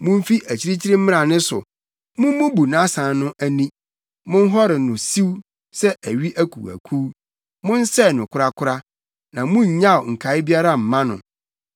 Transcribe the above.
Mumfi akyirikyiri mmra ne so. Mummubu nʼasan no ani; monhɔre no siw sɛ awi akuwakuw. Monsɛe no korakora na munnyaw nkae biara mma no.